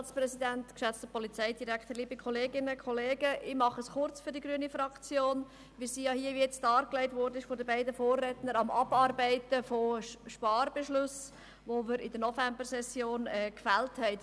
Wie von die beiden Vorredner dargelegt, sind wir am Abarbeiten von Sparbeschlüssen, die wir in der Novembersession gefällt haben.